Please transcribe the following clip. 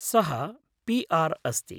सः पी.आर् अस्ति।